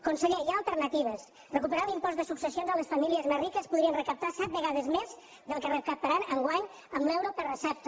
conseller hi ha alternatives recuperant l’impost de successió a les famílies més riques podrien recaptar set vegades més del que recaptaran enguany amb l’euro per recepta